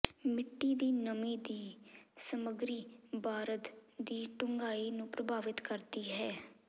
ਮਿੱਟੀ ਦੀ ਨਮੀ ਦੀ ਸਮੱਗਰੀ ਬਾਰਦ ਦੀ ਡੂੰਘਾਈ ਨੂੰ ਪ੍ਰਭਾਵਿਤ ਕਰਦੀ ਹੈ